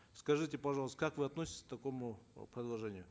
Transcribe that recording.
скажите пожалуйста как вы относитесь к такому э продолжению